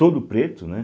Todo preto, né?